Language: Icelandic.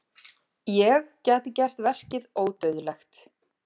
Ég gæti gert verkið ódauðlegt.